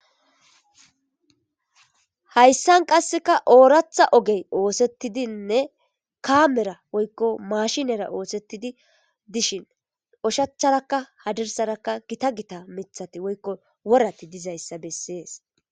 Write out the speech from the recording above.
hayssan qasseka ooratha ogey oosettidinne kaamera woykko mashinera oosettidi dishin oshacharakka hadirsarakka gita gita mithati woykko worati dizayssa bessees